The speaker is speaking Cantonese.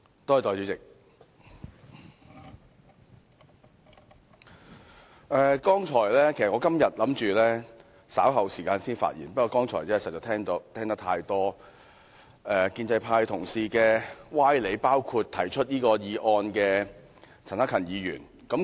代理主席，我今天本打算稍後時間才發言，不過剛才實在聽到太多建制派同事的歪理，包括提出議案的陳克勤議員的歪理。